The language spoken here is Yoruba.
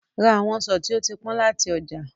Ra àwọn ọsàn tí ó ti pọ́n láti ọjà.